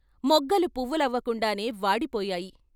మొగ్గలు పువ్వులవకుండానే వాడిపోయాయి.